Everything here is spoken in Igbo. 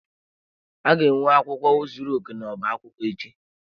A ga-enwe akwụkwọ zuru oke n'ọba akwụkwọ echi.